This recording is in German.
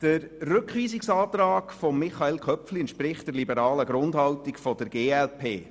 Der Rückweisungsantrag von Michael Köpfli entspricht der liberalen Grundhaltung der glp.